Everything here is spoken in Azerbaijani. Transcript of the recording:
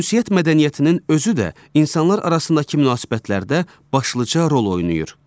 Ünsiyyət mədəniyyətinin özü də insanlar arasındakı münasibətlərdə başlıca rol oynayır.